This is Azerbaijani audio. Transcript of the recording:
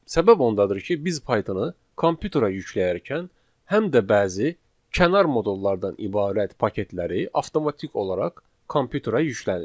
Səbəb ondadır ki, biz Pythona kompyuterə yükləyərkən həm də bəzi kənar modullardan ibarət paketləri avtomatik olaraq kompyuterə yüklənir.